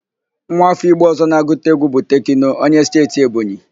Nwa áfọ́ Igbo ọ̀zọ́ na-agụta égwú bụ Tekno, onye Steeti Ebonyi.